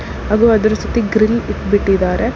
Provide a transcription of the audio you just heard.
ಹಾಗೂ ಅದರ ಸುತ್ತಿ ಗ್ರಿಲ್ಲ್ ಬ್- ಬಿಟ್ಟಿದ್ದಾರೆ.